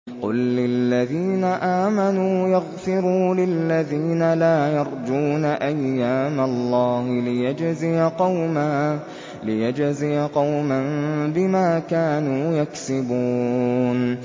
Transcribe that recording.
قُل لِّلَّذِينَ آمَنُوا يَغْفِرُوا لِلَّذِينَ لَا يَرْجُونَ أَيَّامَ اللَّهِ لِيَجْزِيَ قَوْمًا بِمَا كَانُوا يَكْسِبُونَ